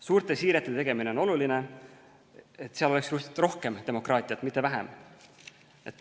Suurte siirete tegemine on oluline, et seal oleks rohkem demokraatiat, mitte vähem.